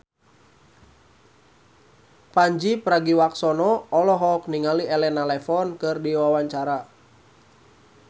Pandji Pragiwaksono olohok ningali Elena Levon keur diwawancara